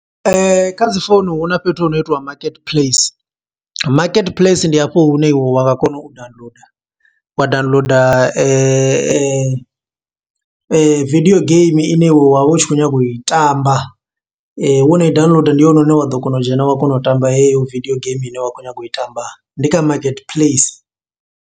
Kha dzi founu hu na fhethu hu no itiwa market place. Market place ndi hafho hune iwe wa nga kona u downloader, wa downloader video game ine iwe wa vha u tshi khou nyanga u i tamba. Wono i downloader ndi hone hune wa ḓo kona u dzhena wa kona u tamba heyo video games, ine wa khou nyaga u i tamba. Ndi kha market place.